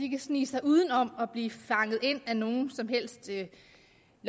kan snige sig udenom at blive fanget ind af nogen som helst ikke